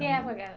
Que época?